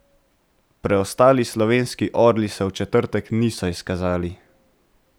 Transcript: Preostali slovenski orli se v četrtek niso izkazali.